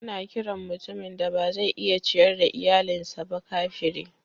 Ana kiran mutumin da ba zai iya ciyar da iyalinsa ba kafiri.